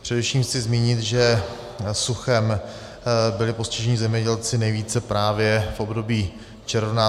Především chci zmínit, že suchem byli postiženi zemědělci nejvíce právě v období června.